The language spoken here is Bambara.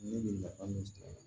Ne bɛ nafa min ci ne ma